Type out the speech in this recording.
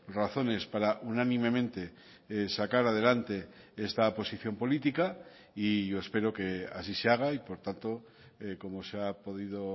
razones para unánimemente sacar adelante esta posición política y yo espero que así se haga y por tanto como se ha podido